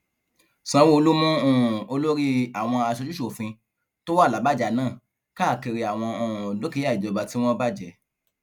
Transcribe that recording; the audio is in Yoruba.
sanwóolu mú um olórí àwọn aṣojúṣòfin tó wà làbájá náà káàkiri àwọn um dúkìá ìjọba tí wọn bàjẹ